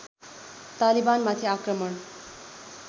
तालिबानमाथि आक्रमण